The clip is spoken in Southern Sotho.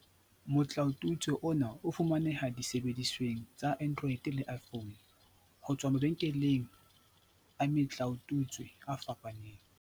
Motlaotutswe ona o fumaneha disebedisweng tsa Android le iPhone, ho tswa mabenkeleng a metlaotutswe a fapaneng.